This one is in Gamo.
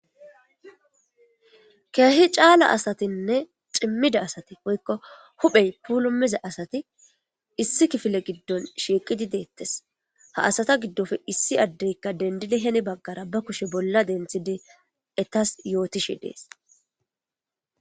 keehi caala asatinne cimmida asati woykko huphey pulumiza asati issi kifile giddon shiiqidi deettes ha asata giddofe issi addeykka dendidi heni baggara ba kushe bolla denthide etas yootishi dees